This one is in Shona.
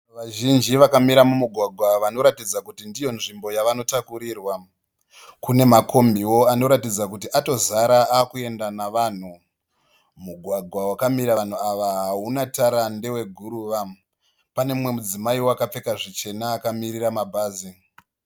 Vanhu vazhinji vakamira mumugwagwa vanoratidza kuti ndiyo nzvimbo yavanotakurirwa. Kune makombiwo anoratidza kuti atozara aakuenda navanhu. Mugwagwa wakamira vanhu ava hauna tara ndewe guruva. Pane mumwe mudzimai wakapfeka zvichena akamirira mabhazi.